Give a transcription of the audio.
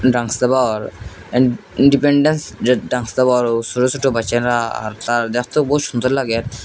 ছোট ছোট বাচ্চারা আর তার দেখতে বহুত সুন্দর লাগে।